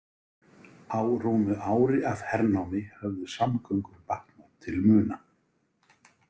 Á rúmu ári af hernámi höfðu samgöngur batnað til muna.